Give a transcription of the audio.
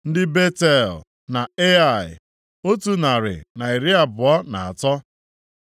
ndị Betel na Ai, otu narị na iri abụọ na atọ (123),